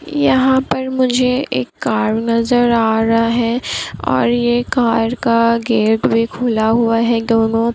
यहाँ पर मुझे एक कार नजर आ रहा है। और ये कार का गेट भी खुला हुआ है दोनो ।